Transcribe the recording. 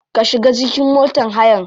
Ka shiga cikin motar hayan.